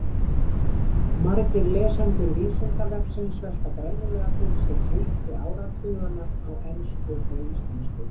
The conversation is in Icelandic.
Margir lesendur Vísindavefsins velta greinilega fyrir sér heiti áratuganna á ensku og íslensku.